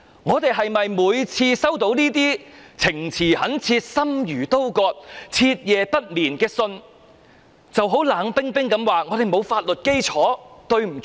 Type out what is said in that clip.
我們是否每次收到這些情詞懇切，令人心如刀割、徹夜不眠的信都冷冰冰地說，我們沒有法律基礎，對不起？